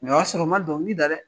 o y'a sɔrɔ n man dɔnkili da dɛ.